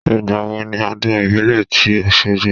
Ìgbà wo ni ọdún ìbílẹ̀ tí Oṣogbo?